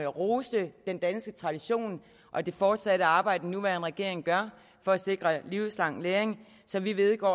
roste den danske tradition og det fortsatte arbejde den nuværende regering gør for at sikre livslang læring så vi vedgår